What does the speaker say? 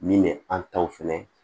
Min bɛ an taw fɛnɛ